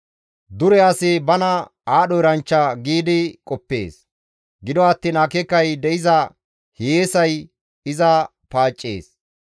Dure asi bana aadho eranchcha giidi qoppees; gido attiin akeekay de7iza hiyeesay iza paaccees.